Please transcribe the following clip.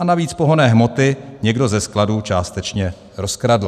A navíc pohonné hmoty někdo ze skladu částečně rozkradl.